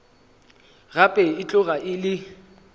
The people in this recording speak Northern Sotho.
gape e tloga e le